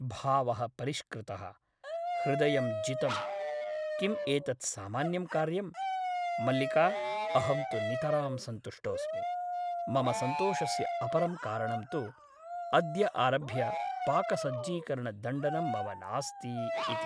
भावः परिष्कृतः । हृदयं जितम् । किम् एतत् सामान्यं कार्यम् ? मल्लिका अहं तु नितरां सन्तुष्टोस्मि । मम सन्तोषस्य अपरं कारणं तु अद्य आरभ्य पाकसज्जीकरणदण्डनं मम नास्ति इति ।